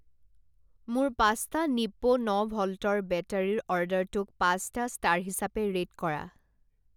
মোৰ পাঁচটা নিপ্পো ন ভল্টৰ বেটাৰীৰ অৰ্ডাৰটোক পাঁচটা ষ্টাৰ হিচাপে ৰে'ট কৰা।